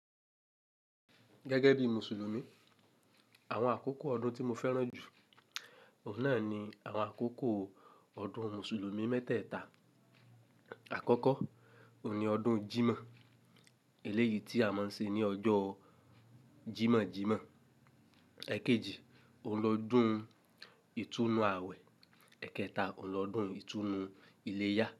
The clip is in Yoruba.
Gẹ́gẹ́ bí Mùsùlùmí, àwọn àkókò ọdún tí mo fẹ́ràn jù, òun náà ni àwọn àkókò ọdún Mùsùlùmí mẹ́tẹ̀ẹ̀ta. Àkọ́kọ́, òun ni ọdún Jímọ̀, èléyìí tí a máa ń ṣe ní ọjọ́ Jímọ̀-Jímọ̀. Ẹ̀kéjì, oun lọ́dún ìtúnu àwẹ̀. Ẹ̀kẹta, oun lọdún ìtúnu iléyá.